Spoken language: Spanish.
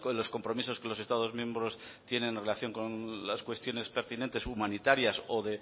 los compromisos que los estados miembros tienen en relación con las cuestiones pertinentes humanitarias